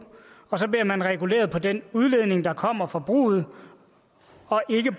og så bliver man reguleret efter den udledning der kommer fra bruget og ikke